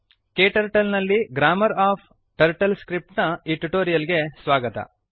KTurtle ನಲ್ಲಿ grammar of TurtleScript ನ ಈ ಟ್ಯುಟೋರಿಯಲ್ ಗೆ ಸ್ವಾಗತ